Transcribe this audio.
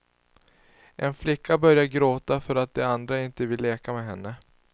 En flicka börjar gråta för att de andra inte vill leka med henne.